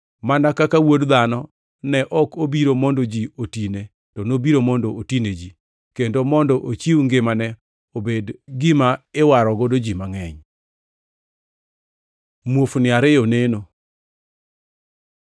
mana kaka Wuod Dhano ne ok obiro mondo ji otine, to nobiro mondo otine ji, kendo mondo ochiw ngimane obed gima iwarogo ji mangʼeny.” Muofni ariyo oneno